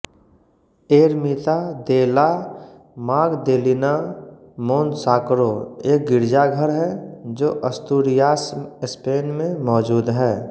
Ermita de la Magdalena Monsacro एक गिरजाघर है जो अस्तूरियास स्पेन में मौजूद है